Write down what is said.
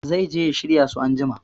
Zai je ya shirya su anjima